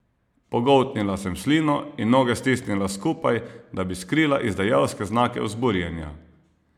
Pogoltnila sem slino in noge stisnila skupaj, da bi skrila izdajalske znake vzburjenja.